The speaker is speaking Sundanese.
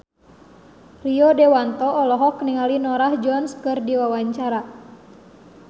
Rio Dewanto olohok ningali Norah Jones keur diwawancara